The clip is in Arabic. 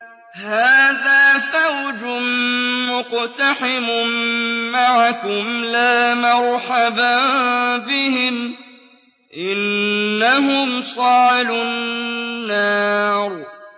هَٰذَا فَوْجٌ مُّقْتَحِمٌ مَّعَكُمْ ۖ لَا مَرْحَبًا بِهِمْ ۚ إِنَّهُمْ صَالُو النَّارِ